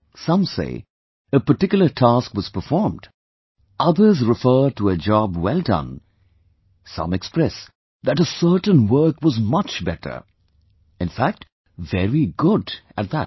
Some say a particular task was performed; others refer to a job well done; some express that a certain work was much better; in fact very good at that